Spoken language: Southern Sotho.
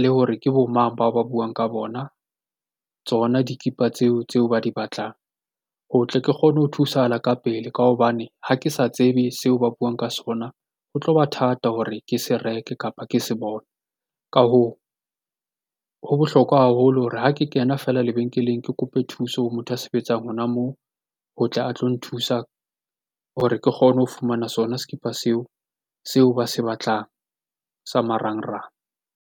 le ho re ke bo mang bao ba buang ka bona, tsona dikipa tseo tse ba di batlang ho tle ke tsebe ho thusahala ka pele ka hobane ha ke sa tsebe seo ba buang ka sona ho tlo ba thata ke se reke kapa ke se bone. Ka hoo, ho ke bohlokwa haholo hore ha ke kena fela lebenkeleng, ke kope thuso ho motho a sebetsang hona moo, ho tle a tlo nthusa hore ke kgone ho fumana sona sekipa seo, seo ba se batlang sa marangrang.